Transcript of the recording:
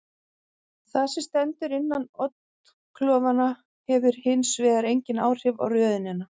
Það sem stendur innan oddklofanna hefur hins vegar engin áhrif á röðunina.